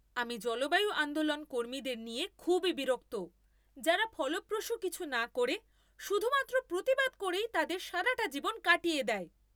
আমি জলবায়ু আন্দোলন কর্মীদের নিয়ে খুবই বিরক্ত যারা ফলপ্রসূ কিছু না করে শুধুমাত্র প্রতিবাদ করেই তাদের সারাটা জীবন কাটিয়ে দেয়।